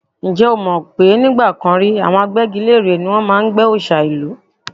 Ǹjẹ́ o mọ̀ pé nígbà kan rí, àwọn agbẹ́gilére ni wọ́n máa ń gbẹ́ òòṣà ìlú?